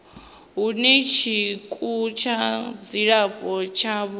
hune tshikimu tsha dzilafho tshavho